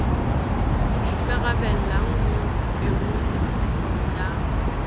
le ikarabellang ho peholeihlo ya